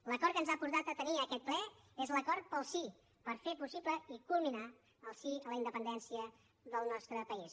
l’acord que ens ha portat a tenir aquest ple és l’acord pel sí per fer possible i culminar el sí a la independència del nostre país